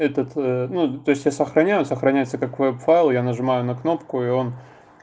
этот ну то есть я сохраняю сохраняются как веб файл я нажимаю на кнопку и он